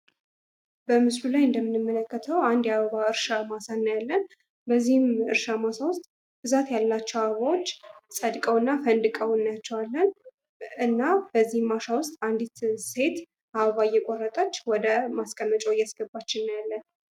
በምስሉ ላይ እንደምንመለከተው አንድ የአበባ እርሻ ማሳ እናያለን በዚህም የእርሻ ማሳ ብዛት ያላቸው አበባዎች ፀድቀውና ፈንድቀው እናያቸዋለን ።እናም በዚህ ማሳ ውስጥ አንዲት ሴት አበባ እየቆረጠች ወደ አበባ ማስቀመጫው እያስገባች እናያለን።